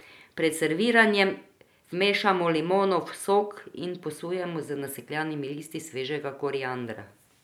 Pred serviranjem vmešamo limonov sok in posujemo z nasekljanimi listi svežega koriandra.